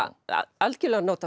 algjörlega notað